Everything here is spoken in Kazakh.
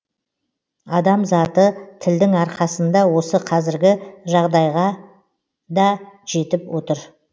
адам заты тілдің арқасында осы қазіргі жағдайғада жетіп отыр